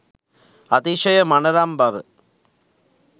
අතිශය මනරම් බව